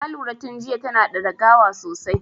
Na lura tun jiya tana da dagawa sosai.